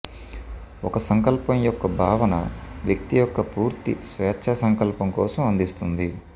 ఒక సంకల్పం యొక్క భావన వ్యక్తి యొక్క పూర్తి స్వేచ్ఛా సంకల్పం కోసం అందిస్తుంది